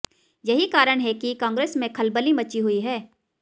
यही कारण है कि कांग्रेस में खलबली मची हुई है